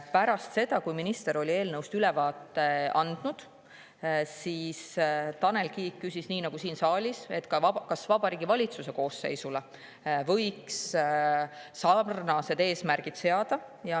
Pärast seda, kui minister oli eelnõust ülevaate andnud, küsis Tanel Kiik nii nagu siin saaliski, kas Vabariigi Valitsuse koosseisule võiks seada sarnased eesmärgid.